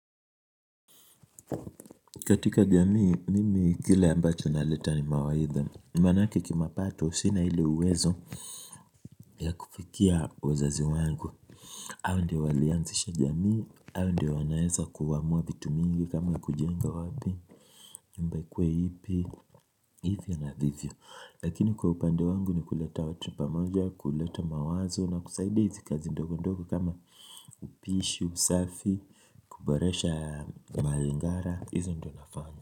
Katika jamii, mimi kile ambacho na leta ni mawaida, maanake kimapato sina ile uwezo ya kufikia wazazi wangu, hao ndio walianzisha jamii, hao ndio wanaweza kuamua vitu vingi kama kujenga wapi nyumba ikuwe ipi hivyo navyo, lakini kwa upande wangu ni kuleta watu pamoja, kuleta mawazo na kusaida hizi kazi ndogo ndogo kama upishi, usafi, kuboresha malingara, hizo ndo nafanya.